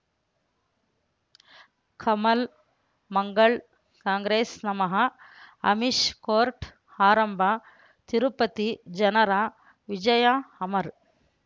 ಕಮಲ್ ಮಂಗಳ್ ಕಾಂಗ್ರೆಸ್ ನಮಃ ಅಮಿಷ್ ಕೋರ್ಟ್ ಆರಂಭ ತಿರುಪತಿ ಜನರ ವಿಜಯ ಅಮರ್